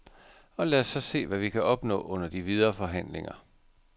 Og lad os så se, hvad vi kan opnå under de videre forhandlinger.